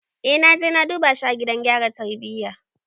Eh naje na duba shi a gidan gyara tarbiyya.